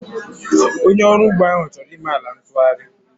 Onye ọrụ ugbo ahụ chọrọ ime ala ntụgharị